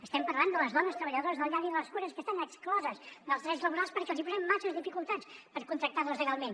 estem parlant de les dones treballadores de la llar i de les cures que estan excloses dels drets laborals perquè els hi posem masses dificultats per contractar les legalment